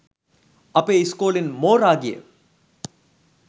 අපේ ඉස්කෝලෙන් මෝරා ගිය